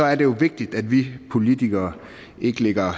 er det jo vigtigt at vi politikere ikke lægger